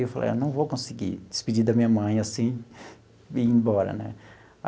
Eu falei, eu não vou conseguir despedir da minha mãe assim e ir embora né.